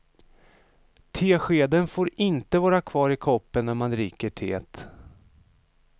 Teskeden får inte vara kvar i koppen när man dricker teet.